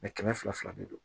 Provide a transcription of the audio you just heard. kɛmɛ fila fila de do